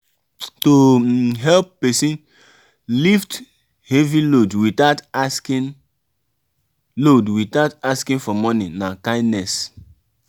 to um help persin um lift heavy load without asking load without asking for money na kindness